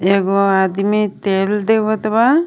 एगो आदमी तेल देवत बा.